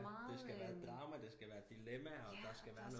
Det skal være drama det skal være dilemmaer der skal være